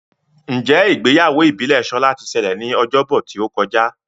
Njé Ìgbéyàwó ìbílè Shola tí ṣẹlẹ ní Ọjọ́ Bọ̀ tíó kọjá?